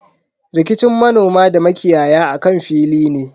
Rikicin manoma da makiyaya akan fili ne.